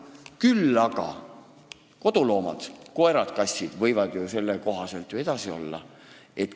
Küll aga võivad ju koduloomad, koerad-kassid, tsirkuses edasi olla.